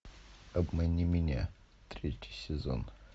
обмани меня третий сезон